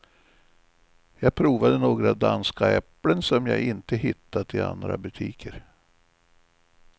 Jag provade några danska äpplen som jag inte hittat i andra butiker.